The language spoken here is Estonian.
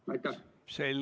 Selge, aitäh!